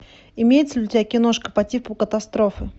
имеется ли у тебя киношка по типу катастрофы